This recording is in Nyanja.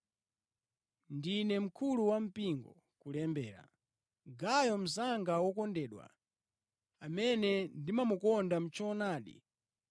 Ndine mkulu wampingo, kulembera: Gayo mnzanga wokondedwa, amene ndimamukonda mʼchoonadi.